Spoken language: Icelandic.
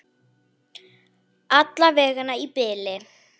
Alla vega í bili.